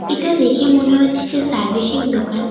এটা দেখে মনে হচ্ছে সার্ভিসিং দোকান।